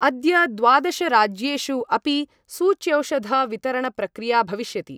अद्य द्वादशराज्येषु अपि सूच्यौषधवितरणप्रक्रिया भविष्यति।